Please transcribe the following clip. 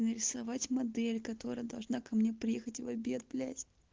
нарисовать модель которая должна ко мне приехать в обед блять